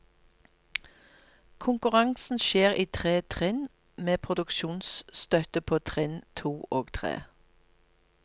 Konkurransen skjer i tre trinn med produksjonsstøtte på trinn to og tre.